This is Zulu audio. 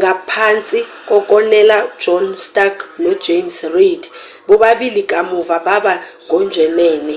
ngaphansi kokonela john stark no-james reed bobabili kamuva baba ngojenene